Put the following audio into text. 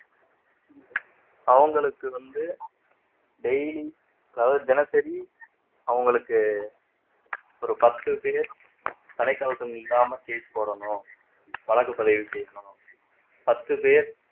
அவங்களுக்கு வந்து daily அதாவது தினசரி அவங்களுக்கு ஒரு பத்து பேர் தலைக்கவசம் இல்லாம case போடணும் வழக்கு பதிவு செய்யணும் பத்து பேர்